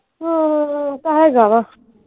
ਹਮ ਤਾਂ ਹੈਗਾ ਵਾ।